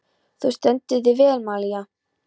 Þú stendur þig vel, Malía!